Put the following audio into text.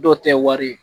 Dɔw tɛ wari ye